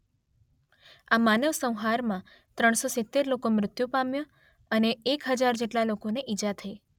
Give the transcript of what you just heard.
આ માનવ સંહારમાં ત્રણ સો સિત્તેર લોકો મૃત્યુ પામ્યાં અને એક હજાર જેટલા લોકોને ઈજા થઈ.